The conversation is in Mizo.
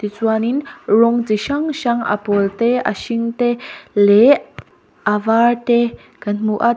tichuanin rawng chi hrang hrang a pawl te a hring te leh a var te kan hmu a.